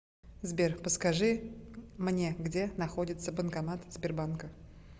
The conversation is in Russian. сбер подскажи мне где находится банкомат сбербанка